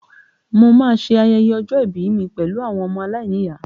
Mo máa ṣe ayẹyẹ ọjọ́ ìbí mi pẹ̀lú àwọn ọmọ aláìníyàá